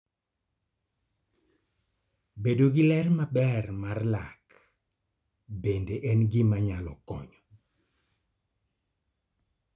Bedo gi ler maber mar lak bende en gima nyalo konyo�.